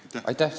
Aitäh!